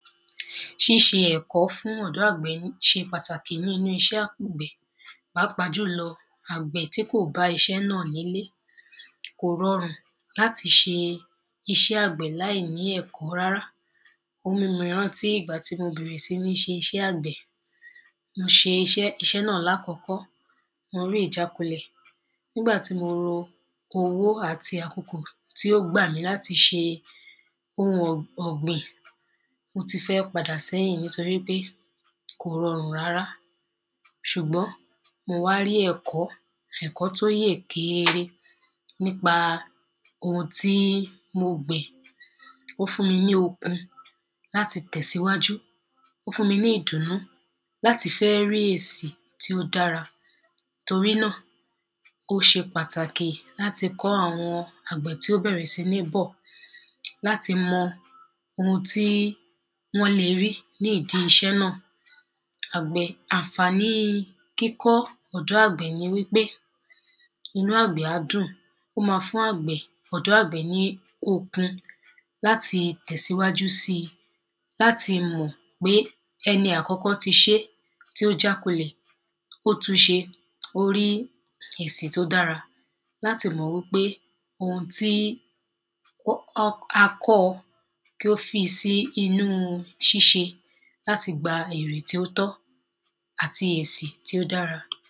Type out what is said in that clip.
ṣíṣẹ ẹ̀kọ́ fún ọ̀dọ́ àgbẹ̀ ṣe pàtàkì nínu iṣẹ́ àkọ́gbè, pàápàá jùlọ àgbẹ̀ tí kò bá iṣẹ́ náà nílé kò rọrùn láti ṣe iṣẹ́ àgbẹ̀ láì ní ẹ̀kọ́ rárá ó mú mi ránti ìgbà tí mo ṣẹ̀ṣẹ̀ bẹ̀rẹ̀ iṣẹ́ àgbẹ̀ mo ṣe iṣẹ́ náà ní àkọ́kọ́, mo rí ìjákulẹ̀, ní ìgbà tí mo ro owó àti àkókò tí ò gbà mí láti ṣe ohun ọ̀gbìn, mo ti fẹ́ pàdà ṣe èyí nítorípé kò rọrùn rárá ṣùgbọ́n mo wá rí ẹ̀kọ́, ẹ̀kọ́ tí ó yè geere nípa ohun tí mo gbìn, ó fún mi ní okun láti tẹ̀síwájú, ó fún mi ní ìdùnú láti fẹ́ rí èsi tí ó dára torí nà ó ṣe pàtàkì láti kọ́ àwọn àgbẹ̀ tí ó bẹ̀rẹ̀ sí ní bọ̀ láti mọ ohun tí wọ́n lè rí ní ìdi iṣẹ́ náà àǹfàni kíkọ́ ọ̀dọ́ àgbẹ̀ ni pé, inú àgbẹ̀ á dùn, ó máa fún àgbẹ̀ ní okun láti tẹ̀ síwájú síi láti mọ̀ pé ẹni àkọ́kọ́ ti ṣeé tí ó já kulẹ̀, ó tún ṣeé, ó rí èsì tí ó dára, láti mọ̀ wípé ohun tí a kọ́ọ kí ó fi sí inú ṣíṣẹ láti gba èrè tí ó tọ́ àti èsì tí ó dára